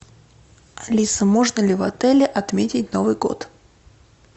алиса можно ли в отеле отметить новый год